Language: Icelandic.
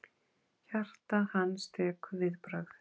Hjarta hans tekur viðbragð.